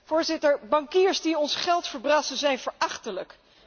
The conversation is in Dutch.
Voorzitter, bankiers die ons geld verbrassen, zijn verachtelijk.